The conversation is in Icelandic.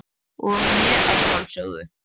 og mér að sjálfsögðu.